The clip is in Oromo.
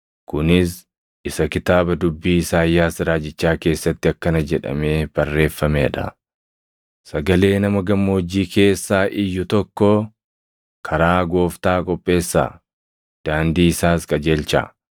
Kunis isa kitaaba dubbii Isaayyaas raajichaa keessatti akkana jedhamee barreeffamee dha: “Sagalee nama gammoojjii keessaa iyyu tokkoo: ‘Karaa Gooftaa qopheessaa; daandii isaas qajeelchaa.